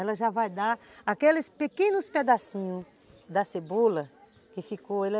Ela já vai dar aqueles pequenos pedacinhos da cebola que ficou, ele é